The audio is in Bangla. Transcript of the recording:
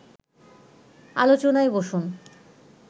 আলোচনায় বসুন